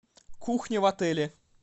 кухня в отеле